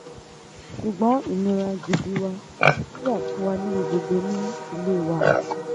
ṣùgbọ́n ìnira gidi wa ò wà fún wa níbi gbogbo ní ilé wa